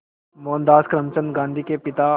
मोहनदास करमचंद गांधी के पिता